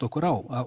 okkur á